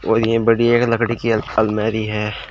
और ये बड़ी एक लकड़ी की अल अलमारी है।